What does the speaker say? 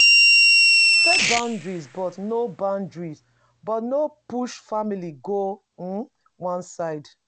Set boundary but no boundary but no push family go um one side